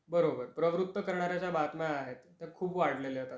बरोबर प्रवृत्त करणाऱ्या ज्या बातम्या आहेत, ते खूप वाढलेल्या आहेत आता.